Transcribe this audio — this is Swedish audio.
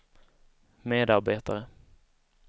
medarbetare